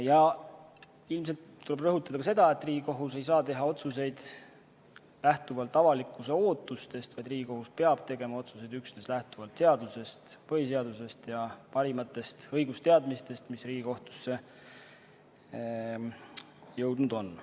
Ja ilmselt tuleb rõhutada ka seda, et Riigikohus ei saa teha otsuseid lähtuvalt avalikkuse ootustest, vaid Riigikohus peab tegema otsuseid üksnes lähtuvalt seadustest, sh põhiseadusest, ja parimatest õigusteadmistest, mis Riigikohtusse jõudnud on.